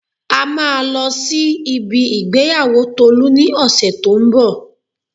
A máa lọ sí ibi ìgbéyàwó Tolu ní ọ̀sẹ̀ to ń bọ̀